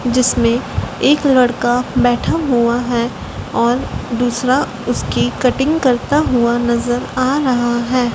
जिसमें एक लड़का बैठा हुआ है और दूसरा उसकी कटिंग करता हुआ नजर आ रहा है।